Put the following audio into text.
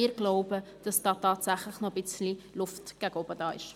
Wir glauben, dass es da tatsächlich noch etwas Luft nach oben gibt.